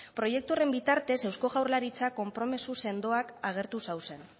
proiektu horren bitartez eusko jaurlaritzak konpromiso sendoak agertu zauzen